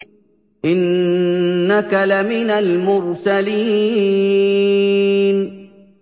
إِنَّكَ لَمِنَ الْمُرْسَلِينَ